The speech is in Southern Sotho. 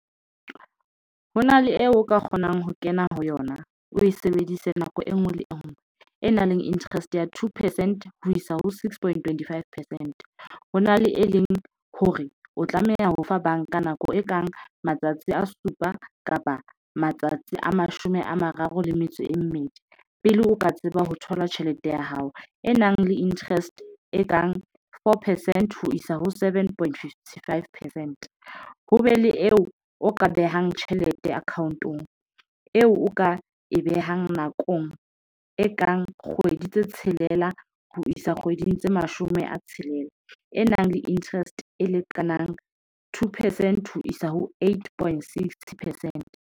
Ho na le eo o ka kgonang ho kena ho yona, o e sebedise nako enngwe le enngwe e nang le interest ya two percent ho isa ho six point twenty-five percent. Ho na le e leng hore o tlameha ho fa banka nako e kang matsatsi a supa kapa matsatsi a mashome a mararo le metso e mmedi. Pele o ka tseba ho thola tjhelete ya hao e nang le interest e kang four percent ho isa ho seven point fifty, five percent ho be le eo o ka behang tjhelete account eo o ka e behang nakong e kang kgwedi tse tshelela ho isa kgweding tse mashome a tshelela e nang le interest e lekanang two percent ho isa ho eight point, sixty percent.